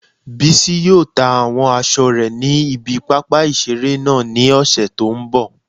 Bísí yóò ta àwọn aṣọ rẹ̀ ní ibi pápá ìseré náà ní ọ̀sẹ̀ tó n bọ̀